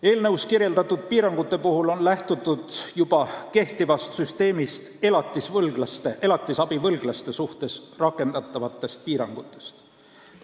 Eelnõus kirjeldatud piirangute puhul on lähtutud juba elatisabivõlglaste suhtes kehtivast süsteemist, rakendatavatest piirangutest.